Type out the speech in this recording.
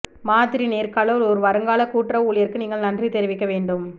மாதிரி நேர்காணல் ஒரு வருங்கால கூட்டுறவு ஊழியருக்கு நீங்கள் நன்றி தெரிவிக்க வேண்டும்